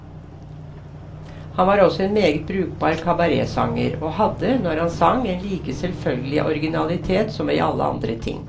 Han var også en meget brukbar kabaretsanger, og hadde, når han sang, en like selvfølgelig originalitet som i alle andre ting.